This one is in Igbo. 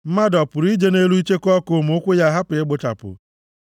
Mmadụ ọ pụrụ ije ije nʼelu icheku ọkụ ma ụkwụ ya ahapụ igbuchapụ?